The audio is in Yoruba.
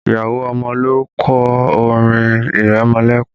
Ìyá ọmọ ló kọ orin ìrẹmọlẹ́kún